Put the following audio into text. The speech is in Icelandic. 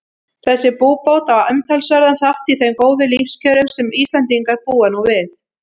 Þessi búbót á umtalsverðan þátt í þeim góðu lífskjörum sem Íslendingar búa nú við.